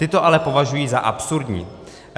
Ty to ale považují za absurdní.